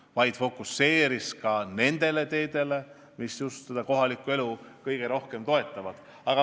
Ta fokuseeris ka nendele teedele, mis kohalikku elu kõige rohkem toetavad.